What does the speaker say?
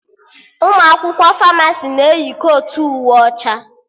Ụmụ akwụkwọ Famasi na-eyi kotu uwe ọcha